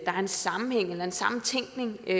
er en sammenhæng eller en sammentænkning i